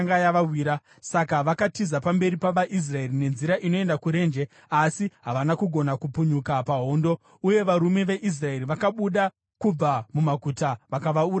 Saka vakatiza pamberi pavaIsraeri nenzira inoenda kurenje, asi havana kugona kupunyuka pahondo. Uye varume veIsraeri vakabuda kubva mumaguta vakavauraya ipapo.